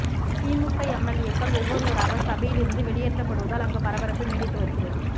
திமுக எம்எல்ஏக்கள் ஒவ்வொருவராக சபையில் இருந்து வெளியேற்றப்படுவதால் அங்கு பரபரப்பு நீடித்து வருகிறது